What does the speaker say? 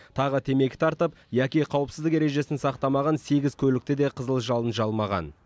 тағы темекі тартып яки қауіпсіздік ережесін сақтамаған сегіз көлікті де қызыл жалын жалмаған